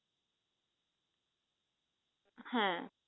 হ্যাঁ